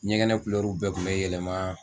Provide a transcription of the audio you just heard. Ɲɛgɛnɛ bɛɛ kun bɛ yɛlɛma.